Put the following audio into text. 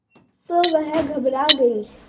तो वह घबरा गई